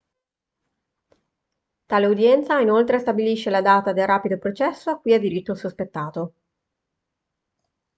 tale udienza inoltre stabilisce la data del rapido processo a cui ha diritto il sospettato